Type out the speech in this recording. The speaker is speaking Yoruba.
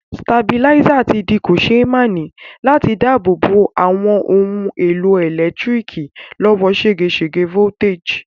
Stabilizer ti di kòsémaní láti dábò bo àwon oun èlò ẹ̀lẹ́ntíriki lọ́wọ́ ségesège voltage